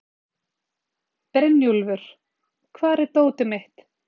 Brynjúlfur, hvar er dótið mitt?